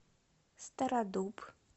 стародуб